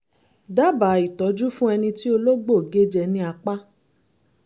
dábàá ìtọ́jú fún ẹni tí ológbò gé jẹ ní apá